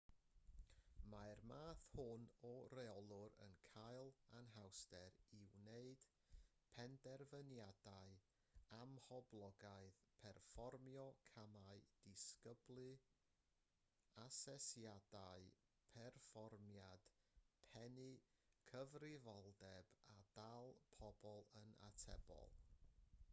mae'r math hwn o reolwr yn cael anhawster i wneud penderfyniadau amhoblogaidd perfformio camau disgyblu asesiadau perfformiad pennu cyfrifoldeb a dal pobl yn atebol